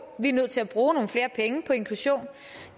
vi er nødt til at bruge nogle flere penge på inklusion